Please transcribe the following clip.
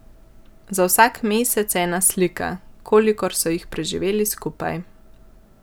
Za vsak mesec ena slika, kolikor so jih preživeli skupaj.